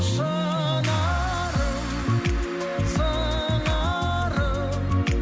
шынарым сыңарым